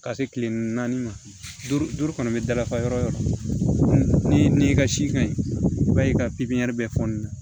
Ka se kile naani ma du duuru kɔnɔ bɛ dafa yɔrɔ o yɔrɔ ni i ka si ka ɲi i b'a ye i ka bɛɛ fɔ nin na